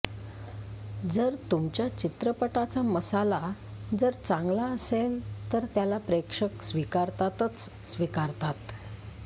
जर तुमच्या चित्रपटाचा मसाला जर चांगला असेल तर त्याला प्रेक्षक स्वीकारतातच स्वीकारतात